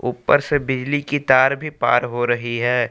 ऊपर से बिजली की तार भी पार हो रही है।